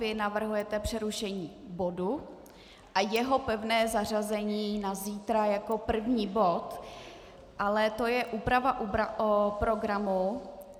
Vy navrhujete přerušení bodu a jeho pevné zařazení na zítra jako první bod, ale to je úprava programu.